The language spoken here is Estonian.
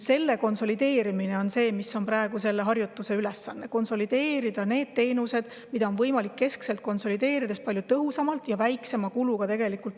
Selle konsolideerimine on see, mis on praegu meie ülesanne, konsolideerida need teenused, mida keskse on võimalik osutada palju tõhusamalt ja väiksema kuluga.